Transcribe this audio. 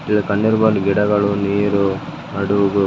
ಈಗ ಕಣ್ಣೀರ್ ಬಂದ್ ಗಿಡಗಳು ನೀರು ಹಡುಗು --